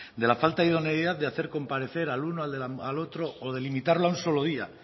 de la falta de idoneidad de hacer comparecer al uno al otro o de limitarlo a un solo día